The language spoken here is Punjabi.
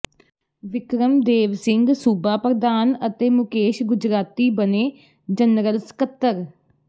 ਵਿਕਰਮ ਦੇਵ ਸਿੰੰਘ ਸੂਬਾ ਪ੍ਰਧਾਨ ਅਤੇ ਮੁਕੇਸ਼ ਗੁਜਰਾਤੀ ਬਣੇ ਜਨਰਲ ਸਕੱਤਰ